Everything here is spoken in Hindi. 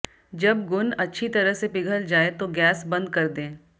जब गुण अच्छी तरह से पिघल जाए तो गैस बंद कर दें